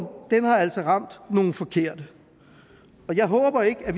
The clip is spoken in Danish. har altså ramt nogle forkerte og jeg håber ikke at